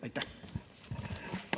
Aitäh!